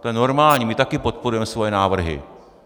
To je normální, my také podporujeme své návrhy.